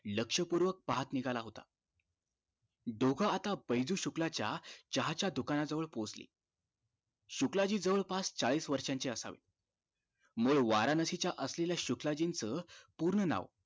लक्ष्य पुर्वक पाहत निघाला होता दोघं आता बैजु शुक्लच्या चहा च्या दुकान जवळ पोचले शुक्लाजी जवळपास चाळीस वर्षाचे असावे मूळ वाराणसी असलेल्या शुक्लाजींचं पुर्ण नावं